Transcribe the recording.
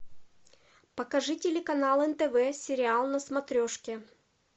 покажи телеканал нтв сериал на смотрешке